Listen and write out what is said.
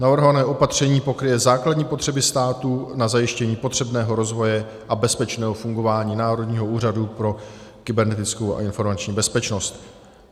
Navrhované opatření pokryje základní potřeby státu na zajištění potřebného rozvoje a bezpečného fungování Národního úřadu pro kybernetickou a informační bezpečnost.